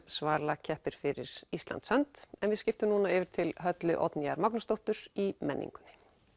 Svala keppir fyrir Íslands hönd en við skiptum núna yfir til Höllu Oddnýjar Magnúsdóttur í menningunni